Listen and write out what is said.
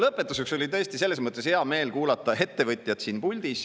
Lõpetuseks oli hea meel kuulata siin puldis kõnelevat ettevõtjat.